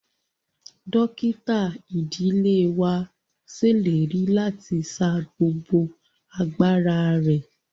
Dókítà ìdílé wa ṣèlérí láti sa gbogbo agbára rẹ.